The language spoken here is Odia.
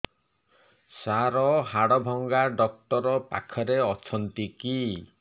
ସାର ହାଡଭଙ୍ଗା ଡକ୍ଟର ପାଖରେ ଅଛନ୍ତି କି